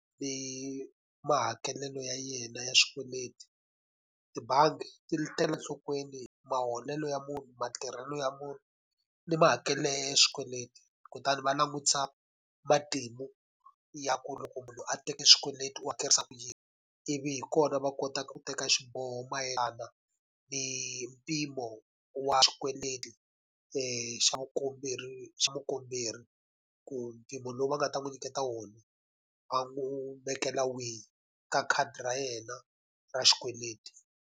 mahakelelo ya yena ya swikweleti. Tibangi ti tekela enhlokweni maholelo ya munhu, matirhelo ya munhu, ni mahakelelo ya yena ya swikweleti kutani va langutisa matimu ya ku loko munhu a teke xikweleti hakerisa ku yini. Ivi hi kona va kota ku teka xiboho mayelana ni mpimo wa xikweleti xa vukomberi xa mukomberi. Ku mpimo lowu va nga ta n'wi nyiketa wona, va n'wi vekela wihi ka khadi ra yena ra xikweleti.